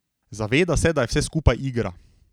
Zaveda se, da je vse skupaj igra.